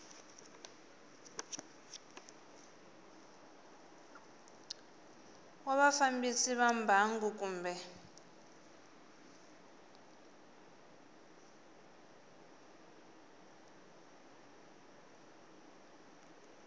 wa vafambisi va mbangu kumbe